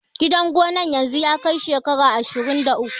Gidan gonan yanzu ya kai shekara ashirun da uku